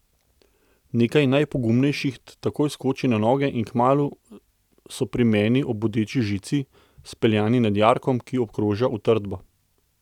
Nekaj najpogumnejših takoj skoči na noge in kmalu so pri meni ob bodeči žici, speljani nad jarkom, ki obkroža utrdbo.